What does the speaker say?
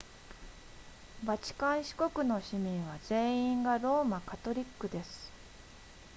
バチカン市国の市民は全員がローマカトリックです